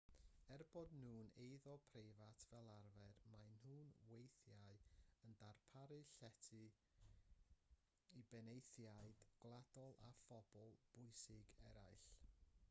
er eu bod nhw'n eiddo preifat fel arfer maen nhw weithiau yn darparu llety i benaethiaid gwladol a phobl bwysig eraill